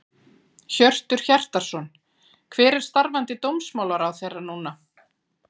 Hjörtur Hjartarson: Hver er starfandi dómsmálaráðherra núna?